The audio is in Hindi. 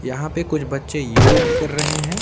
यहां पे कुछ बच्चे योग कर रहे हैं।